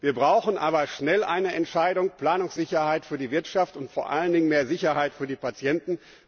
Wir brauchen aber schnell eine Entscheidung, Planungssicherheit für die Wirtschaft und vor allen Dingen mehr Sicherheit für die Patienten.